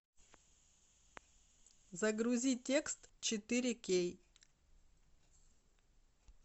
загрузи текст четыре кей